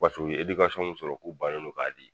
Paseke u ye edikasɔnw sɔrɔ k'u ban ne don k'a di